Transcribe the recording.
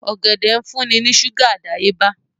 Ọ̀gẹ̀dẹ̀ ń fún ní ṣúgà àdáyébá